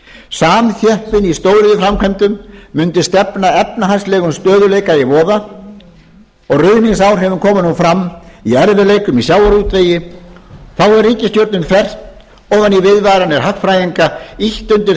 samþjöppun í stóriðjuframkvæmdum mundi stefna efnahagslegum stöðugleika í voða ruðningsáhrifin koma nú fram í erfiðleikum í sjávarútvegi þá hefur ríkisstjórnin þvert ofan í viðvaranir hagfræðinga ýtt undir